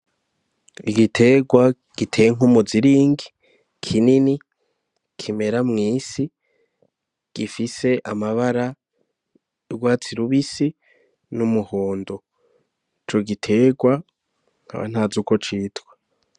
Igiterwa giteye nk'umuziringi kinini kimera mw'isi gifise amabara y'urwatsi rubisi n'umuhondo ico giterwa nkaba ntazi uko citwa.